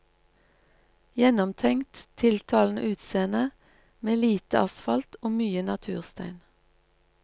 Gjennomtenkt, tiltalende utseende, med lite asfalt og mye naturstein.